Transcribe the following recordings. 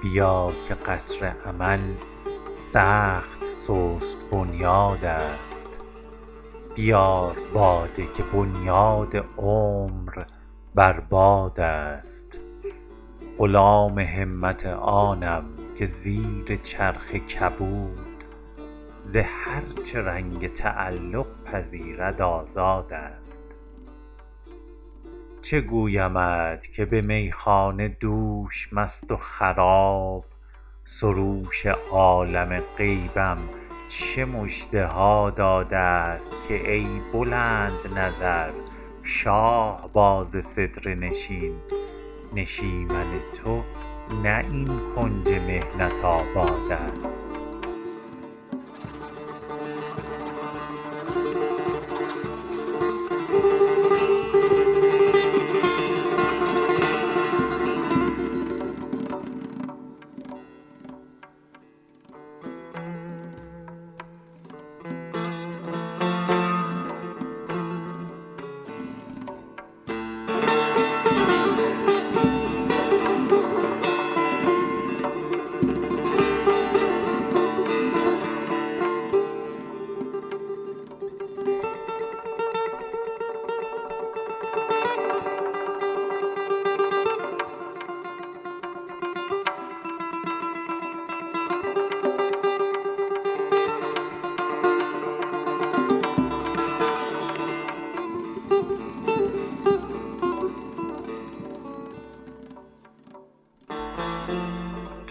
بیا که قصر امل سخت سست بنیادست بیار باده که بنیاد عمر بر بادست غلام همت آنم که زیر چرخ کبود ز هر چه رنگ تعلق پذیرد آزادست چه گویمت که به میخانه دوش مست و خراب سروش عالم غیبم چه مژده ها دادست که ای بلندنظر شاهباز سدره نشین نشیمن تو نه این کنج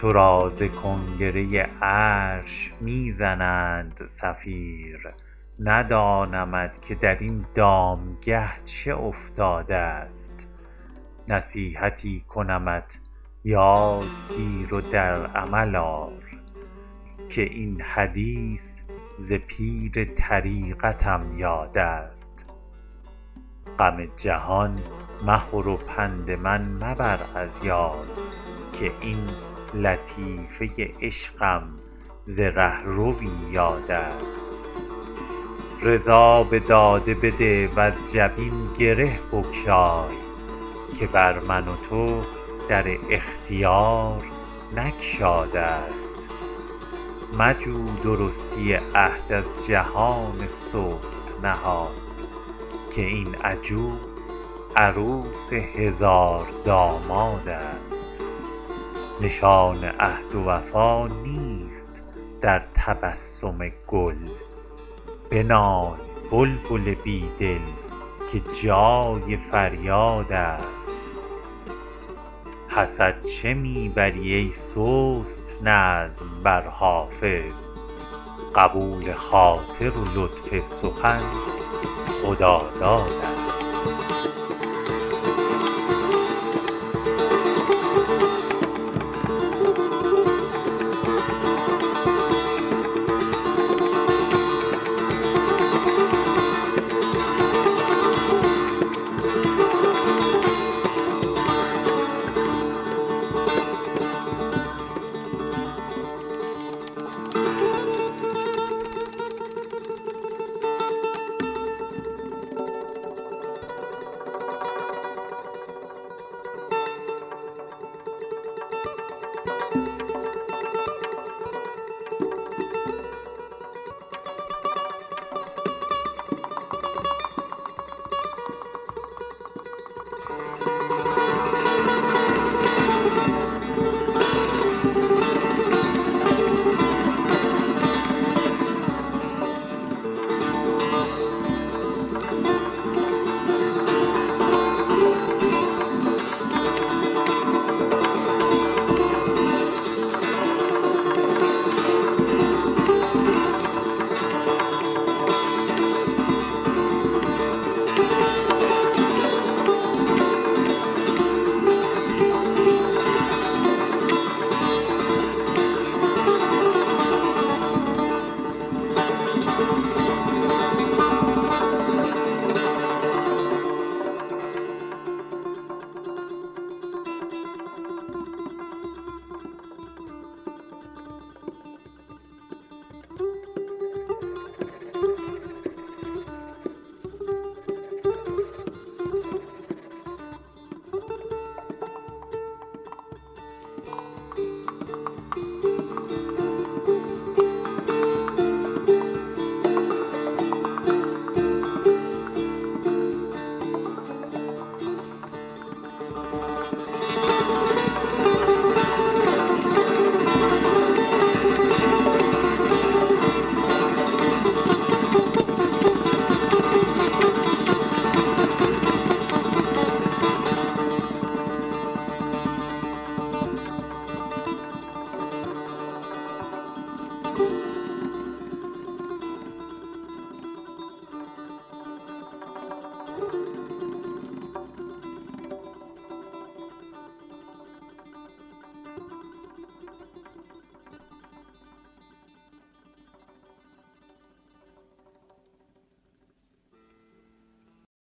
محنت آبادست تو را ز کنگره عرش می زنند صفیر ندانمت که در این دامگه چه افتادست نصیحتی کنمت یاد گیر و در عمل آر که این حدیث ز پیر طریقتم یادست غم جهان مخور و پند من مبر از یاد که این لطیفه عشقم ز رهروی یادست رضا به داده بده وز جبین گره بگشای که بر من و تو در اختیار نگشادست مجو درستی عهد از جهان سست نهاد که این عجوز عروس هزاردامادست نشان عهد و وفا نیست در تبسم گل بنال بلبل بی دل که جای فریادست حسد چه می بری ای سست نظم بر حافظ قبول خاطر و لطف سخن خدادادست